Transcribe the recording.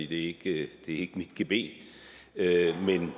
det er ikke mit gebet at